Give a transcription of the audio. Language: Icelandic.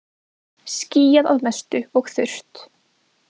Skýjað að mestu og þurrt